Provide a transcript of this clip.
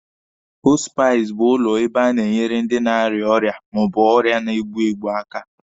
Họspisi bụ ụlọ ebe a na-enyere ndị na-ara ọrịa ma ọ bụ ọrịa na-egbu egbu aka.